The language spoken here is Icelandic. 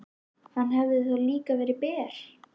Hann hefði þá líka verið ber.